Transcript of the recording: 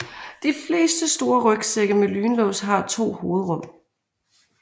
De fleste store rygsække med lynlås har to hovedrum